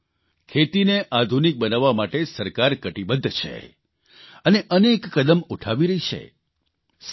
સાથીઓ ખેતીને આધુનિક બનાવવા માટે સરકાર કટિબદ્ધ છે અને અનેક કદમ ઉઠાવી રહી છે